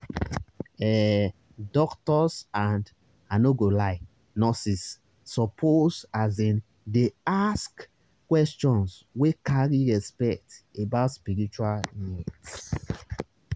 ehh doctors and i no go lie nurses suppose asin dey ask questions wey carry respect about spiritual needs.